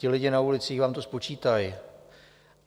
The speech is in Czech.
Ti lidi na ulicích vám to spočítají.